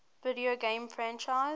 video game franchises